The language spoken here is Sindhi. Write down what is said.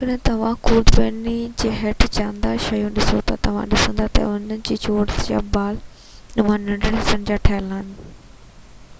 جيڪڏهن توهان خوردبينيءَ هيٺ جاندار شيون ڏسو ٿا توهان ڏسندا ته اهي چورس يا بال نما ننڍڙن حصن جا ٺهيل آهن